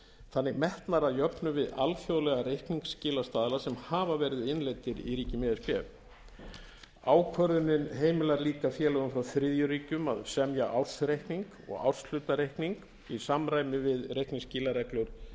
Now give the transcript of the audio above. þannig metnar að jöfnu við alþjóðlega reikningsskilastaðla sem hafa verið innleiddir í ríkjum e s b ákvörðunin heimilar líka félögum frá þriðju ríkjum að semja ársreikning og árshlutareikning í samræmi við reikningsskilareglur